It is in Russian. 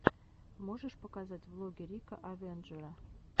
можешь показать влоги рика авенджера